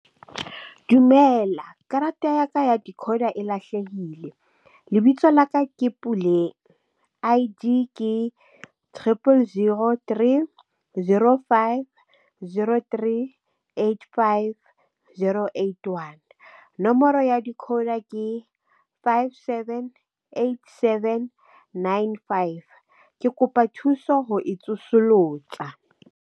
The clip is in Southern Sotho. Dumela karata ya ka ya decoder e lahlehile lebitso laka ke Puleng I_D ke triple zero three zero five zero three eight five zero eight one. Nomoro ya decoder ke five seven eight seven nine five. Ke kopa thuso ho e tsosolosa.